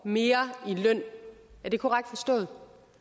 mere i løn er det korrekt forstået